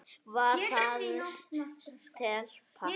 Var það stelpa?